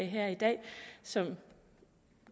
her i dag som man